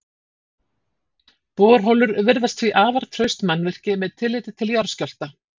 Borholur virðast því afar traust mannvirki með tilliti til jarðskjálfta.